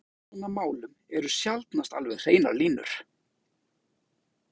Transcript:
Þóra Kristín: Og í svona málum eru sjaldnast alveg hreinar línur?